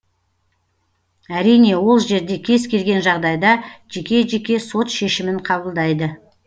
әрине ол жерде кез келген жағдайда жеке жеке сот шешімін қабылдайды